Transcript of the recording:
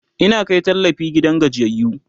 Ina Kai tallafi gidan gajiyayyu